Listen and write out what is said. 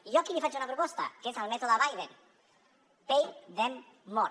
i jo aquí li faig una proposta que és el mètode biden pay them more